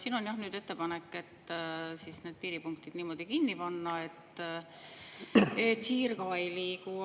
Siin on jah nüüd ettepanek need piiripunktid niimoodi kinni panna, et hiir ka ei liigu.